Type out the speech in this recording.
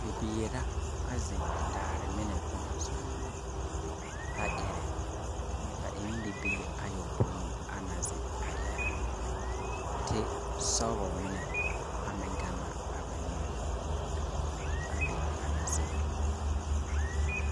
Bibiiri la, a zeŋ daare mine kɔŋɔ zuŋ, a ɛrɛ. ba en bibiiri ayɔpõĩ a na zeŋ a ɛrɛ na. Tesɔbɔ mine a meŋ gan na a ba neo, a be ba na zeŋ na.